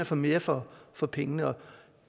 få mere for for pengene